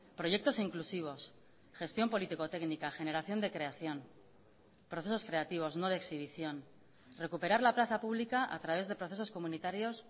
proyectos inclusivos gestión político técnica generación de creación procesos creativos no de exhibición recuperar la plaza pública a través de procesos comunitarios